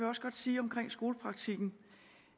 også godt sige om skolepraktikken